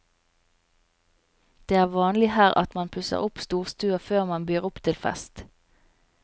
Det er vanlig her at man pusser opp storstua før man byr opp til fest.